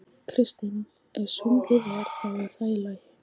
Kristinn: Ef svindlið er. þá er það í lagi?